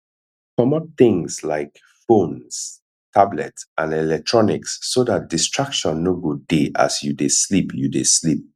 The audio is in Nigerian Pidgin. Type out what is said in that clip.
comot things like phones tablet and electronics so dat distraction no go dey as you dey sleep you dey sleep